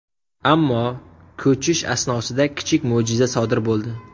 Ammo ko‘chish asnosida kichik mo‘jiza sodir bo‘ldi.